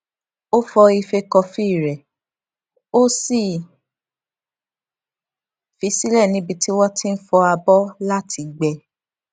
ó fọ ife kọfí rè ó sì fi í sílè níbi tí wọn ti n fọ abọ láti gbẹ